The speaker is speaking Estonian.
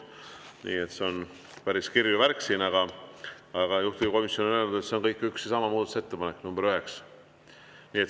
Nii et see on päris kirju värk siin, aga juhtivkomisjon on öelnud, et see on kõik üks ja sama muudatusettepanek, nr 9.